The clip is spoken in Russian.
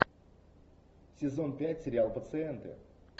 сезон пять сериал пациенты